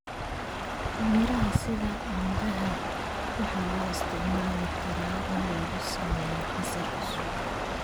Miraha sida canbaha waxaa loo isticmaali karaa in lagu sameeyo casiir cusub.